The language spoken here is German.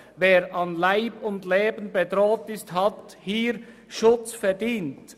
Wer an Leib und Leben bedroht ist, hat hier Schutz verdient.